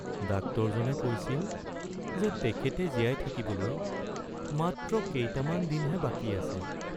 ডাক্তৰজনে কৈছিল যে তেখেতে জীয়াই থাকিবলৈ মাত্ৰ কেইটামান দিনহে বাকী আছে।